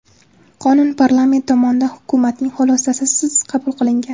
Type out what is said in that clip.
Qonun parlament tomonidan hukumatning xulosasisiz qabul qilingan.